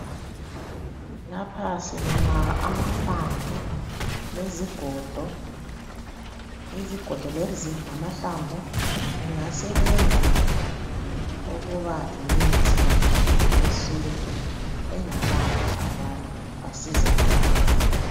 Lapha sibona amahlamvu lezigodo, izigodo lezi lamahlamvu kungasebenza ukuba yimithi yesintu engalapha abantu basizakale.